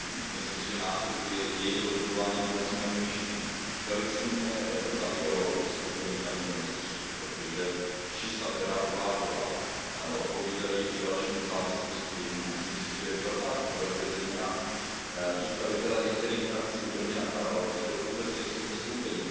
Myslím si, že následky jejich rozhodování poneseme my všichni. Velice mě zaujalo vystoupení paní komisařky, protože čísla, která uváděla, odpovídají i dalším nezávislým studiím a myslím si, že je velká škoda, že zejména představitelé některých frakcí ode mne napravo zde vůbec nejsou zastoupeni.